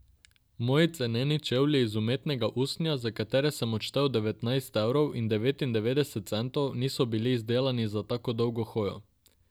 Moji ceneni čevlji iz umetnega usnja, za katere sem odštel devetnajst evrov in devetindevetdeset centov, niso bili izdelani za tako dolgo hojo.